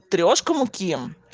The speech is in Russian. трёшка муки